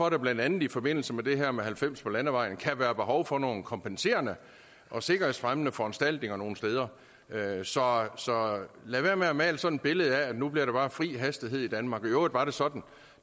at der blandt andet i forbindelse med det her med halvfems på landevejen kan være behov for nogle kompenserende og sikkerhedsfremmende foranstaltninger nogle steder så så lad være med at male sådan et billede af at nu bliver der bare fri hastighed i danmark i øvrigt var det sådan